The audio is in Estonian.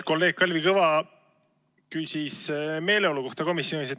Kolleeg Kalvi Kõva küsis komisjonis valitsenud meeleolu kohta.